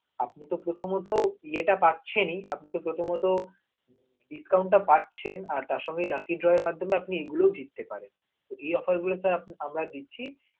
আপনি তো প্রথমত ইয়েটাপাচ্ছেন, আপনি তো প্রথমত discount টা পাচ্ছেন, আর তার সঙ্গে lucky dow র মাধ্যমে আপনি এগুলো জিততে পারেন. যদি sir আমরা এই offer টা দিচ্ছি.